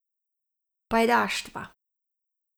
Pajdaštva.